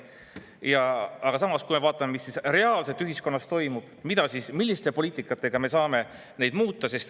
Samas vaatame, mis reaalselt ühiskonnas toimub, millise poliitikaga me saame seda muuta.